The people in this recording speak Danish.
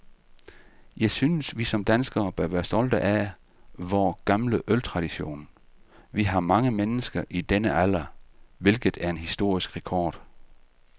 Jeg synes, vi som danskere bør være stolte af vor gamle øltradition. Vi har mange mennesker i denne alder, hvilket er en historisk rekord.